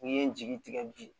N'i ye n jigi tigɛ bi